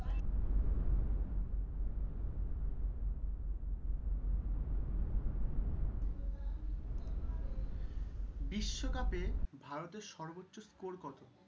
বিশ্বকাপে ভারতের সর্বোচ্চ স্কোর কত?